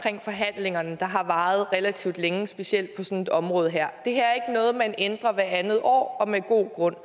i forhandlingerne der har varet relativt længe specielt på sådan et område her det her er ikke noget man ændrer hvert andet år og med god grund